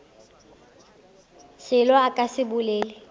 selo a ka se bolele